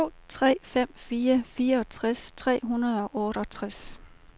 to tre fem fire fireogtres tre hundrede og otteogtres